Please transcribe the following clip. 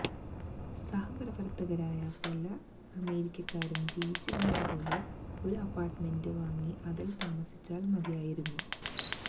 സഹപ്രവർത്തകരായ പലേ അമേരിക്കക്കാരും ജീവിച്ചിരുന്നതുപോലെ ഒരു അപ്പാർട്ടുമെന്റ് വാങ്ങി അതിൽ താമസിച്ചാൽ മതിയായിരുന്നു